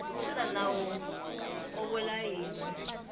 xana nawu wu vula yini